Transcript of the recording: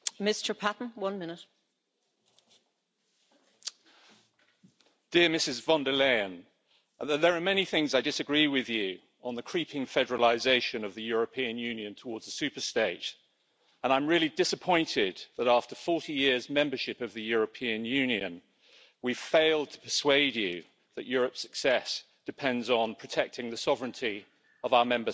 Madam President, dear Ms von der Leyen, there are many things I disagree with you about on the creeping federalisation of the European Union towards a super state, and I'm really disappointed that, after 40 years' membership of the European Union, we've failed to persuade you that Europe's success depends on protecting the sovereignty of our Member States.